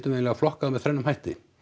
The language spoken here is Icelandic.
eiginlega flokkað þá með þrennum hætti